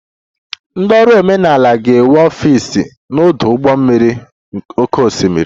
Ndị ọrụ omenala ga-enwe ọfịs n'ọdụ ụgbọ mmiri oké osimiri